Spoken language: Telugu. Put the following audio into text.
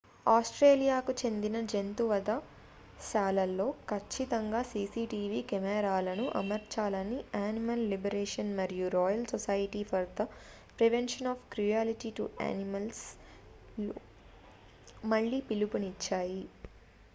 ఆస్ట్రేలియాకు చెందిన జంతువధ శాలలలో ఖచ్చితంగా cctv కెమెరాలను అమర్చాలని animal liberation మరియు royal society for the prevention of cruelty to animals rspcaలు మళ్లీ పిలుపునిచ్చాయి